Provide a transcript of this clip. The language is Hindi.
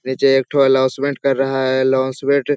नीचे एक ठो अल्लौंसमेंट कर रहा है । अल्लौंसमेंट --